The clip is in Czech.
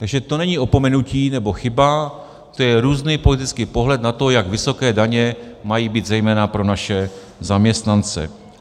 Takže to není opomenutí nebo chyba, to je různý politický pohled na to, jak vysoké daně mají být zejména pro naše zaměstnance.